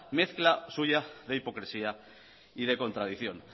mezcla suya de hipocresía y de contradicción